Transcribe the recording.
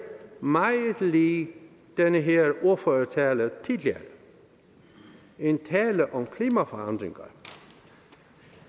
meget lig den her ordførertale tidligere en tale om klimaforandringer